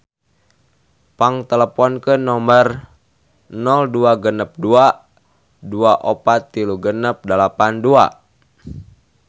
Pang teleponkeun nomer 0262 243682